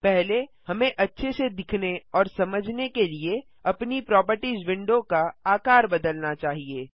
पहले हमें अच्छे से दिखने और समझने के लिए अपनी प्रोपर्टिज विंडो का आकार बदलना चाहिए